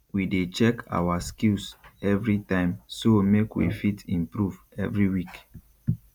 we dey check awa skills everytime so make we fit improve every week